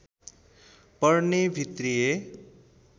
पर्ने भित्रीय